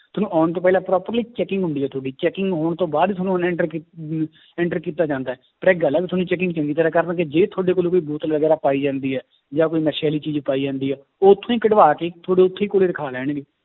ਤੁਹਾਨੂੰ ਆਉਣ ਤੋਂ ਪਹਿਲਾਂ ਪੂਰਾ ਪਹਿਲੇ checking ਹੁੰਦੀ ਹੈ ਤੁਹਾਡੀ checking ਹੋਣ ਤੋਂ ਬਾਅਦ ਹੀ ਤੁਹਾਨੂੰ enter ਕੀ~ ਅਹ enter ਕੀਤਾ ਜਾਂਦਾ ਹੈ, ਪਰ ਇੱਕ ਗੱਲ ਹੈ ਵੀ ਤੁਹਾਡੀ checking ਚੰਗੀ ਤਰ੍ਹਾਂ ਕਰਨਗੇ, ਜੇ ਤੁਹਾਡੇ ਕੋਲ ਕੋਈ ਬੋਤਲ ਵਗ਼ੈਰਾ ਪਾਈ ਜਾਂਦੀ ਹੈ ਜਾਂ ਕੋਈ ਨਸ਼ੇ ਵਾਲੀ ਚੀਜ਼ ਪਾਈ ਜਾਂਦੀ ਹੈ ਉੱਥੋਂ ਹੀ ਕਢਵਾ ਕੇ ਤੁਹਾਡੇ ਉੱਥੇ ਹੀ ਕੋਲੇ ਰਖਾ ਲੈਣਗੇ।